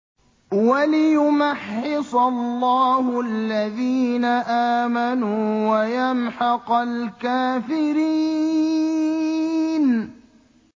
وَلِيُمَحِّصَ اللَّهُ الَّذِينَ آمَنُوا وَيَمْحَقَ الْكَافِرِينَ